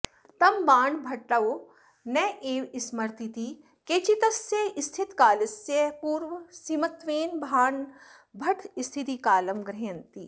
तं बाणभट्टो नैव स्मरतीति केचित्तस्य स्थितिकालस्य पूर्वसीमत्वेन बाणभट्टस्थितिकालं गृह्णन्ति